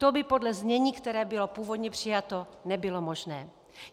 To by podle znění, které bylo původně přijato, nebylo možné.